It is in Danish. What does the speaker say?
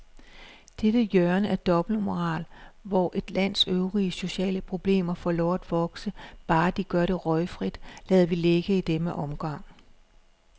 Dette hjørne af dobbeltmoral, hvor et lands øvrige sociale problemer får lov at vokse, bare de gør det røgfrit, lader vi ligge i denne omgang.